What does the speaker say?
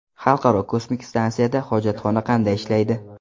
Xalqaro kosmik stansiyada hojatxona qanday ishlaydi?